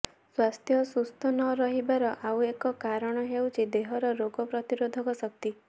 ସ୍ୱାସ୍ଥ୍ୟ ସୁସ୍ଥ ନରହିବାର ଆଉ ଏକ କାରଣ ହେଉଛି ଦେହର ରୋଗ ପ୍ରତିରୋଧକ ଶକ୍ତି